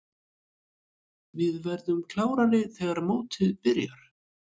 Við verðum klárir þegar mótið byrjar.